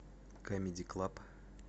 камеди клаб